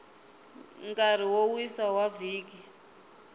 nkarhi wo wisa wa vhiki